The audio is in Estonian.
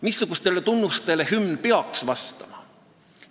Missugustele tunnustele peaks hümn vastama?